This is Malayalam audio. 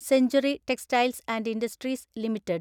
century Textiles and Industries limited